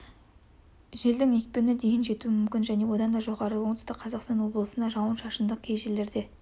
желдің екпіні дейін жетуі мүмкін және одан да жоғары оңтүстік қазақстан облысында жауын-шашынды кей жерлерде